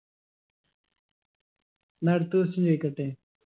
ന്നാ അടുത്ത question ചോയിക്കട്ടെ